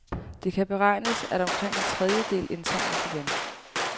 Det kan beregnes, at omkring en tredjedel indsamles igen.